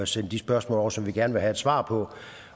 sende de spørgsmål over som vi gerne vil have svar på